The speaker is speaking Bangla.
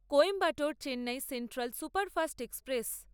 Coimbatore Chennai central superfast express